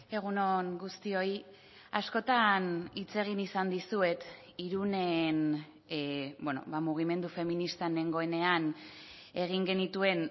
egun on guztioi askotan hitz egin izan dizuet irunen mugimendu feministan nengoenean egin genituen